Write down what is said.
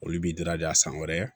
Olu b'i daradi a san wɛrɛ